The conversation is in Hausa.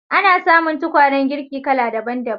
Ana samun tukwanen girki kala daban-daban.